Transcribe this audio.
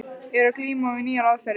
Er að glíma við nýjar aðferðir.